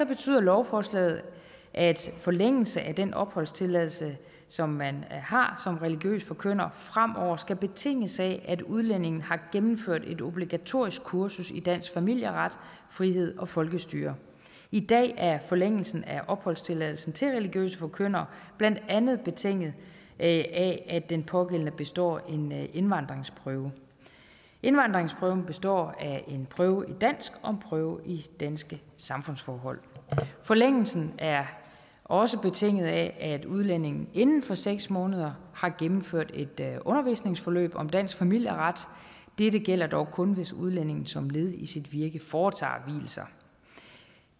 betyder lovforslaget at forlængelse af den opholdstilladelse som man har som religiøs forkynder fremover skal betinges af at udlændingen har gennemført et obligatorisk kursus i dansk familieret frihed og folkestyre i dag er forlængelsen af opholdstilladelsen til religiøse forkyndere blandt andet betinget af at den pågældende består en indvandringsprøve indvandringsprøven består af en prøve i dansk og en prøve i danske samfundsforhold forlængelsen er også betinget af at udlændingen inden for seks måneder har gennemført et undervisningsforløb om dansk familieret dette gælder dog kun hvis udlændingen som led i sit virke foretager